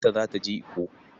Binta za ta je Ikko.